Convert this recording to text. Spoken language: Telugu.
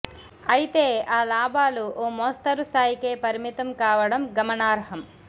ఐతే ఆ లాభాలు ఓ మోస్తరు స్థాయికే పరిమితం కావడం గమనార్హం